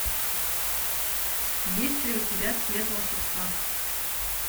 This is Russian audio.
есть ли у тебя цвет волшебства